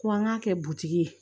Ko an k'a kɛ butigi ye